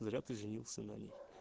зря ты женился на ней